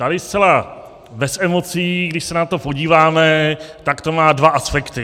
Tady zcela bez emocí, když se na to podíváme, tak to má dva aspekty.